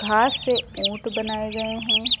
घास से ऊंट बनाए गए हैं।